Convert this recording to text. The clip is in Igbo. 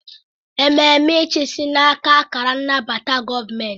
Ememe ịchịisi na-aka akara nnabata gọọmentị.